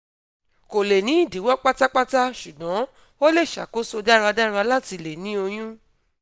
ko le ni idiwọ patapata ṣugbọn o le ṣakoso daradara lati le ni oyun